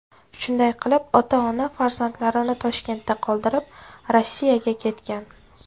Shunday qilib, ota-ona farzandlarini Toshkentda qoldirib, Rossiyaga ketgan.